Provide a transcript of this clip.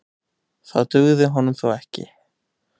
Það dugði honum þó ekki.